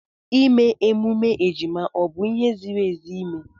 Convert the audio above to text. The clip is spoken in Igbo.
ịme emume ejima ọ bụ ihe ziri ezi ime?